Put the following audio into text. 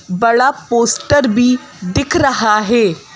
बड़ा पोस्टर भी दिख रहा है।